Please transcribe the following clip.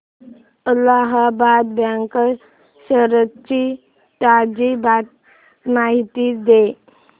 Allahabad bank shares ची ताजी माहिती दे